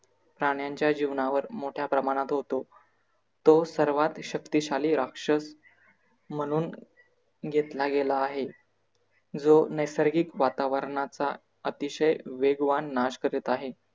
प्राण्यांच्या जीवनावर मोठ्याप्रमाणात होतो तो सर्वात शक्तिशाली राक्षस म्हणून घेतला गेला आहे. जो नैसर्गिक वातावरणाचा अतिशय वेगवान नाश करीत आहे.